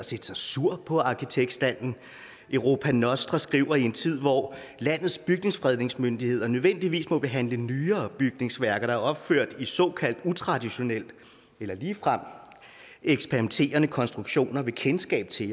set sig sur på arkitektstanden europa nostra danmark skriver i en tid hvor landets bygningsfredningsmyndighed nødvendigvis må behandle nyere bygningsværker der er opført i såkaldt utraditionelle eller ligefrem eksperimenterende konstruktioner vil kendskab til